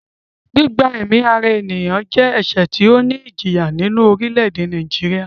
Gbígba ẹ̀mí ara ènìyàn fún ra re jẹ́ ẹ̀sẹ̀ tí ó ní ìjìyà nínú ní orílẹ̀-èdè Nàìjíríà